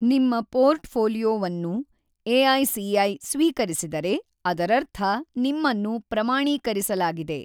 ನಿಮ್ಮ ಪೋರ್ಟ್‌ಫೋಲಿಯೊವನ್ನು ಎಐಸಿಐ ಸ್ವೀಕರಿಸಿದರೆ, ಅದರರ್ಥ ನಿಮ್ಮನ್ನು ಪ್ರಮಾಣೀಕರಿಸಲಾಗಿದೆ!